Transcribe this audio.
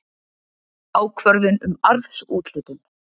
Ákvörðun um arðsúthlutun.